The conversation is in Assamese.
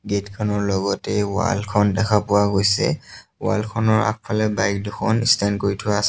গেটখনৰ লগতে ৱালখন দেখা পোৱা গৈছে ৱালখনৰ আগফালে বাইক দুখন ষ্টেণ্ড কৰি থোৱা আছে।